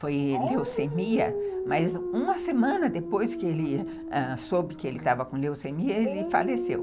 Foi leucemia, mas uma semana depois que ele ãh soube que ele estava com leucemia, ele faleceu.